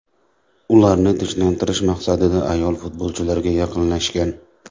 Ularni tinchlantirish maqsadida ayol futbolchilarga yaqinlashgan.